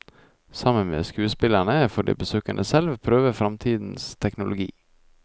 Sammen med skuespillerne får de besøkende selv prøve fremtidens teknologi.